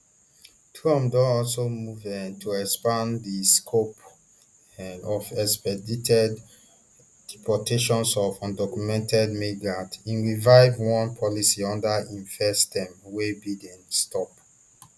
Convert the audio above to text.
trump don also move um to expand di scope um of expedited deportations of undocumented migrants im revive one policy under im first term wey biden stop